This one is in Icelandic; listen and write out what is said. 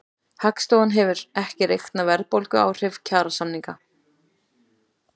Hagstofan hefur ekki reiknað verðbólguáhrif kjarasamninganna